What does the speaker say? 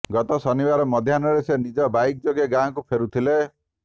ଗତ ଶନିବାର ମଧ୍ୟାହ୍ନରେ ସେ ନିଜ ବାଇକ୍ ଯୋଗେ ଗାଁକୁ ଫେରୁଥିଲେ